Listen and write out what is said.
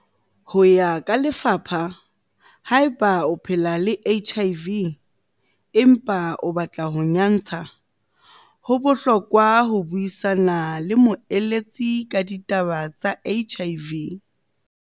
Ho ya ka lefapha, haeba o phela le HIV, empa o batla ho nyantsha, ho bohlokwa ho buisana le moeletsi ka ditaba tsa HIV.